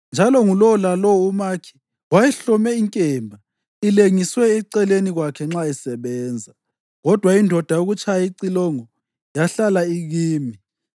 njalo ngulowo lalowo umakhi wayehlome inkemba ilengiswe eceleni kwakhe nxa esebenza. Kodwa indoda yokutshaya icilongo yahlala ikimi.